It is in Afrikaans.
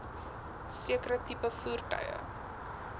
sekere tipe voertuie